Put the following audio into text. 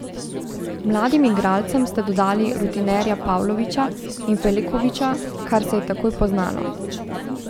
Mladim igralcem ste dodali rutinerja Pavloviča in Filekoviča, kar se je takoj poznalo.